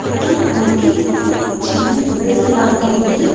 ఇక్కడ మనకి ఒక చిన్న గుడిస లాగా ఉంది.